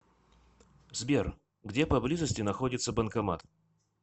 сбер где поблизости находится банкомат